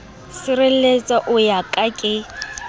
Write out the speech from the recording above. sirelletsa o wa ka ke